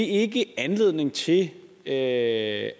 ikke anledning til at